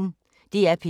DR P1